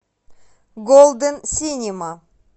голден синема